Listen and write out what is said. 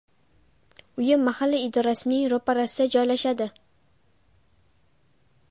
Uyim mahalla idorasining ro‘parasida joylashadi.